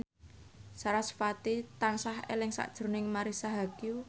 sarasvati tansah eling sakjroning Marisa Haque